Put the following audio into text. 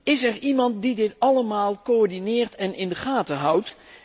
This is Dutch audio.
Is er iemand die dit allemaal coördineert en in de gaten houdt?